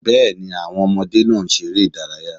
Bẹ́ẹ̀ni, àwọn ọmọdé ń ṣeré ìdárayá